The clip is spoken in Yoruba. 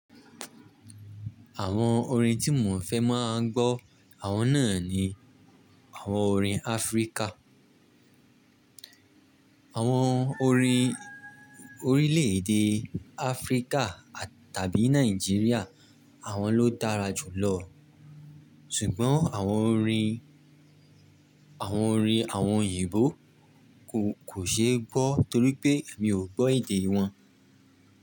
Àwọn orin tí mò ń fẹ́ máa gbọ́, àwọn náà ni àwọn orin Áfríkà. Àwọn orin orílẹ̀èdè Áfríkà tàbí Nàìjíríà àwọn ló dára jù lọ. Ṣùgbọ́n àwọn orin, àwọn orin àwọn òyìnbó kò, kò ṣe é gbọ́ torí pé èmi ò gbọ́ èdè wọn.